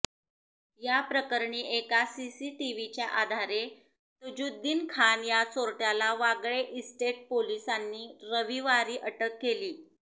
याप्रकरणी एका सीसीटीव्हीच्या आधारे तजुद्दीन खान या चोरटयाला वागळे इस्टेट पोलिसांनी रविवारी अटक केली